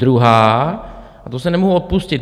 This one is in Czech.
Druhá, a tu se nemohu odpustit.